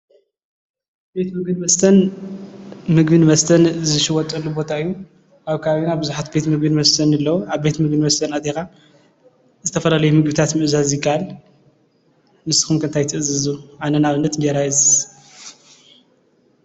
ቤት ምግብን መስተን ምግብን መስተን ዝሽየጠሉ ቦታ እዩ። ኣብ ከባቢና ብዙሓት ቤት ምግብን ምስተን ኣለው። ኣብ ቤት ምግቢን መስተን ኣትይኻ ዝተፈላለየ ምግብታት ምእዛዝ ይካኣል። ንስኩም ከ እንታይ ትእዙዙ? ኣነ ንኣብነት እንጀራ ይእዝዝ።